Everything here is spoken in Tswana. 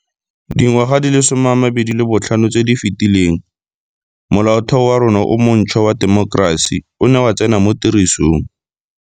Dingwaga di le 25 tse di fetileng, Molaotheo wa rona o montšhwa wa temokerasi o ne wa tsena mo tirisong.